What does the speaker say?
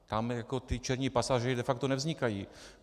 Tam ti černí pasažéři de facto nevznikají.